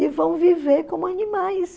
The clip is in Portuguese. E vão viver como animais.